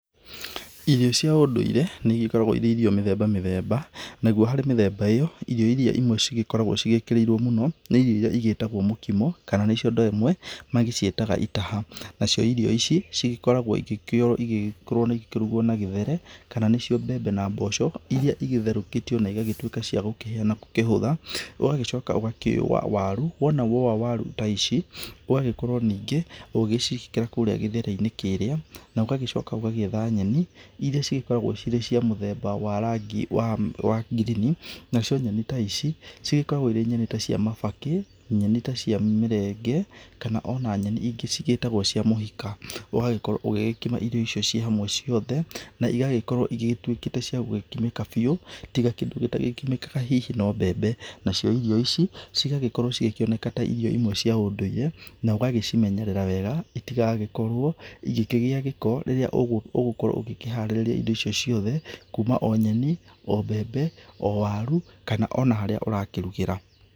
Irio cia ũndũire nĩigĩkoragwo irĩ irio mĩthemba mĩthemba , naguo harĩ mĩthemba ĩyo irio irĩa imwe cigĩkoragwo cigĩkĩrĩirwo mũno, nĩ irio irĩa igĩtagwo mũkimo, kana nĩcio andũ amwe magĩciĩtaga itaha, na cio irio ici cigĩkoragwo ĩgĩkĩoywo ĩgĩkorwo ĩkĩrugwo na gĩthere, kana nĩcio mbembe na mboco irĩa igĩtherũkĩtio na igagĩtuĩka cia gũkĩhĩa na igakĩhũtha, ũgagĩcoka ũgakĩũa waru, wona wowa waru ta ici, ũgagĩkorwo ningĩ ũgĩciĩkĩra kũrĩa gĩthere-inĩ kĩrĩa, na ũgagĩcoka ũgagĩetha nyeni, irĩa cikoragwo cirĩ cia mũthemba wa rangi wa green, na cio nyeni ta ici cigĩkoragwo irĩ nyeni ta cia mabakĩ, nyeni ta cia mĩrenge kana o na nyeni ingĩ cigĩtagwo cia mũhika. Ũgagĩkorwo ũgĩkima irio icio ci hamwe ciothe na igagĩkorwo igĩtuĩkĩte cia gũkimĩka biũ tiga kĩndũ gĩtakĩmĩkaga hihi no mbembe. Nacio irio ici cigagĩkorwo cigĩkĩoneka ta irio imwe cia ũndũire na ũgagĩcimenyerera wega itigagĩkorwo igĩkĩgia gĩko rĩrĩa ũgũkorwo ũkĩharĩrĩa irio ciothe kuma o nyeni, o mbembe , o waru kana o harĩa ũrakĩrugĩra.